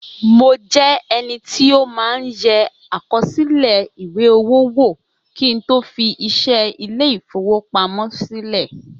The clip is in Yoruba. Mo jẹ́ ẹni tí ó máa ń yẹ àkọsílẹ̀ ìwé-owó wò kín tó fi iṣẹ́ Ilé-ìfowópamó sílè